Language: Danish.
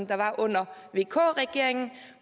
der var under vk regeringen